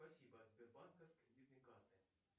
спасибо от сбербанка с кредитной карты